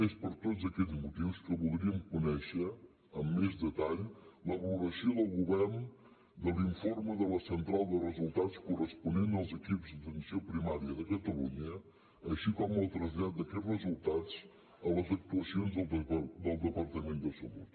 és per tots aquests motius que voldríem conèixer amb més detall la valoració del govern de l’informe de la central de resultats corresponent als equips d’atenció primària de catalunya així com el trasllat d’aquests resultats a les actuacions del departament de salut